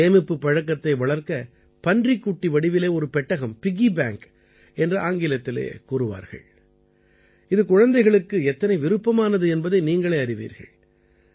சேமிப்புப் பழக்கத்தை வளர்க்க பன்றிக்குட்டி வடிவிலே ஒரு பெட்டகம் பிக்கி பேங்க் என்று ஆங்கிலத்திலே கூறுவார்கள் இது குழந்தைகளுக்கு எத்தனை விருப்பமானது என்பதை நீங்களே அறிவீர்கள்